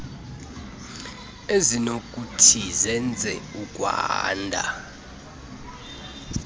ezinokuthi zenze ukwanda